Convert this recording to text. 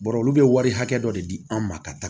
Bɔrɔ olu bɛ wari hakɛ dɔ de di an ma ka taga